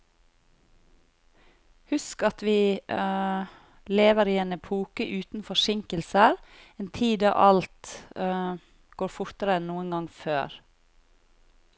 Husk at vi lever i en epoke uten forsinkelser, en tid da alt går fortere enn noen gang før.